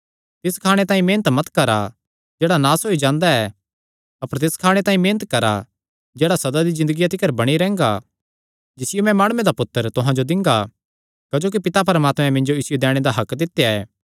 तिस खाणे तांई मेहनत मत करा जेह्ड़ा नास होई जांदा ऐ अपर तिस खाणे तांई मेहनत करा जेह्ड़ा सदा दी ज़िन्दगिया तिकर बणी रैंह्गा जिसियो मैं माणुये दा पुत्तर तुहां जो दिंगा क्जोकि पिता परमात्मैं मिन्जो इसियो दैणे दा हक्क दित्या ऐ